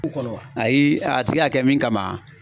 ayi, a tigi y'a kɛ min kama.